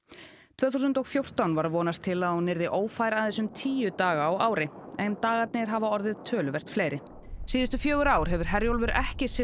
tvö þúsund og fjórtán var vonast til að hún yrði ófær aðeins um tíu daga á ári en dagarnir hafa orðið töluvert fleiri síðustu fjögur ár hefur Herjólfur ekki siglt